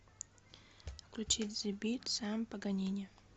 включить зе бит сэм паганини